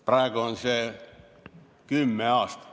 Praegu on see kümme aastat.